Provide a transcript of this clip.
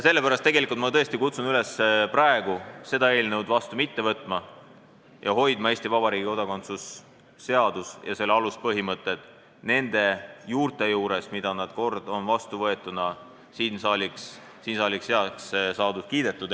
Sellepärast ma tõesti kutsun üles praegu seda seadust mitte vastu võtma ja hoidma Eesti Vabariigi kodakondsuse seadus ja selle aluspõhimõtted nende juurte juures, mis kord vastu võetuna siin saalis said heaks kiidetud.